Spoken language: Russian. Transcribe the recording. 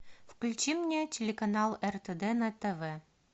включи мне телеканал ртд на тв